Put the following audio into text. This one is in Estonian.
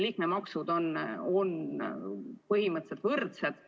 Liikmemaksud on põhimõtteliselt võrdsed.